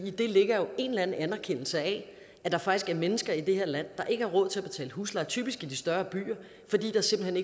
det ligger jo en eller anden anerkendelse af at der faktisk er mennesker i det her land der ikke har råd til at betale husleje typisk i de større byer fordi der simpelt